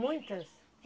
Muitas?